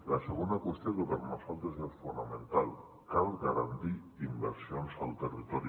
la segona qüestió que per nosaltres és fonamental cal garantir inversions al territori